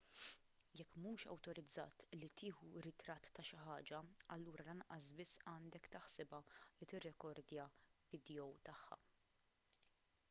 jekk mhux awtorizzat li tieħu ritratt ta' xi ħaġa allura lanqas biss għandek taħsibha li tirrekordja vidjow tagħha